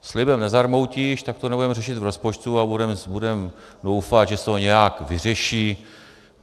Slibem nezarmoutíš, tak to nebudeme řešit v rozpočtu a budeme doufat, že se to nějak vyřeší.